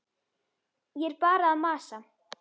Ég er bara að masa.